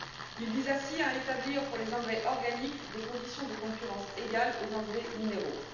Il vise ainsi à établir, pour les engrais organiques, des conditions de concurrence égales à celles des engrais minéraux.